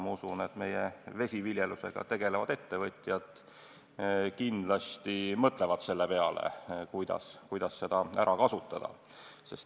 Usun, et meie vesiviljelusega tegelevad ettevõtjad kindlasti mõtlevad, kuidas seda ära kasutada.